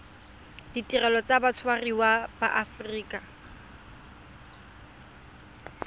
ditirelo tsa batshwariwa ba aforika